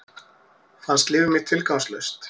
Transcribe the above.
Fannst líf mitt tilgangslaust.